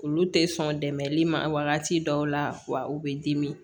Olu tɛ sɔn dɛmɛli ma wagati dɔw la wa u bɛ dimi